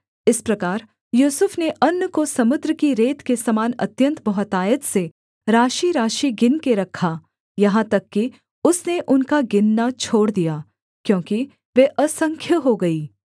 इस प्रकार यूसुफ ने अन्न को समुद्र की रेत के समान अत्यन्त बहुतायत से राशिराशि गिनके रखा यहाँ तक कि उसने उनका गिनना छोड़ दिया क्योंकि वे असंख्य हो गईं